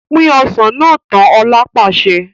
Pin Ọsàn náà tán! Ọ̀la pàṣẹ.